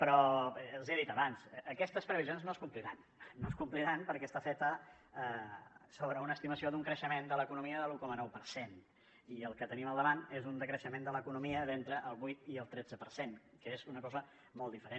però els ho he dit abans aquestes previsions no es compliran no es compliran perquè estan fetes sobre una estimació d’un creixement de l’economia de l’un coma nou per cent i el que tenim al davant és un decreixement de l’economia d’entre el vuit i el tretze per cent que és una cosa molt diferent